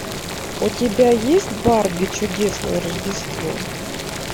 у тебя есть барби чудесное рождество